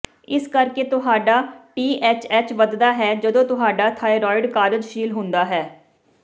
ਇਸੇ ਕਰਕੇ ਤੁਹਾਡਾ ਟੀਐਚਐਚ ਵੱਧਦਾ ਹੈ ਜਦੋਂ ਤੁਹਾਡਾ ਥਾਈਰੋਇਡਡ ਕਾਰਜਸ਼ੀਲ ਹੁੰਦਾ ਹੈ